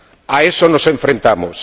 A eso nos enfrentamos.